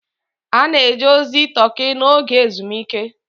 A na-eje ozi Turkey n'oge ezumike.